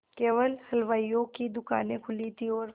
केवल हलवाइयों की दूकानें खुली थी और